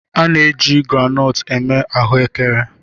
A na-eji groundnut eme ahụekere.